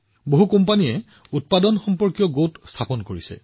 বহুতো কোম্পানীয়ে নিৰ্মাণ গোটো স্থাপন কৰি আছে